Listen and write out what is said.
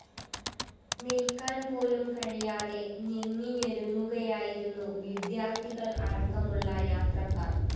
നില്‍ക്കാന്‍ പോലും കഴിയാതെ ഞെങ്ങിഞെരുങ്ങുകയായിരുന്നു വിദ്യാര്‍ത്ഥികള്‍ അടക്കമുള്ള യാത്രക്കാര്‍